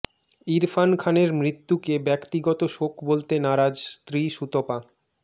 ইরফান খানের মৃত্যুকে ব্যক্তিগত শোক বলতে নারাজ স্ত্রী সুতপা